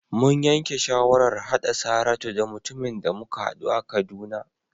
Mun yanke shawarar haɗa Saratu da mutumin da muka haɗu a Kaduna.